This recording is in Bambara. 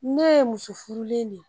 Ne ye muso furulen de ye